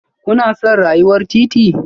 Kuna son rayuwar titi?